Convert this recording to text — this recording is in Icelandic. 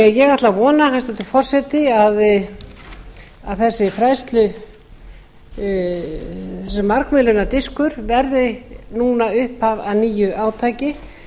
ég ætla því að vona hæstvirtur forseti að þessi margmiðlunardiskur verði núna upphaf að nýju átaki